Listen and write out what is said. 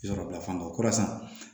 Yɔrɔ bila fan dɔ kɔrɔ san